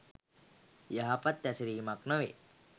යහපත් හැසිරීමක් නොවේ.